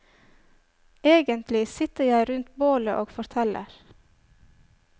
Egentlig sitter jeg rundt bålet og forteller.